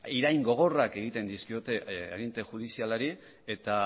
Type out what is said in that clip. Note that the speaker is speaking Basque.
irain gogorrak egiten dizkiete aginte judizialari eta